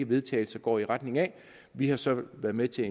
vedtagelse går i retning af vi har så været med til